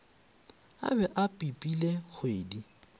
a be a pipile ngwedi